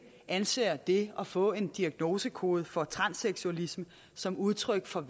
anser det at få en diagnosekode for transseksualisme som udtryk for